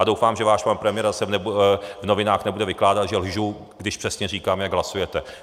A doufám, že váš pan premiér zase v novinách nebude vykládat, že lžu, když přesně říkám, jak hlasujete.